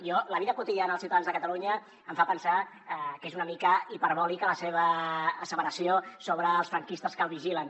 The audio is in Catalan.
a mi la vida quotidiana dels ciutadans de catalunya em fa pensar que és una mica hiperbòlica la seva asseveració sobre els franquistes que el vigilen